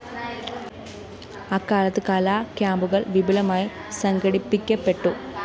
അക്കാലത്ത് കലാ ക്യാമ്പുകള്‍ വിപുലമായി സംഘടിപ്പിക്കപ്പെട്ടു